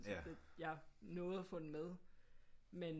Jeg nåede at få den med men